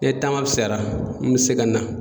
Ni taama bisayara n mi se ka na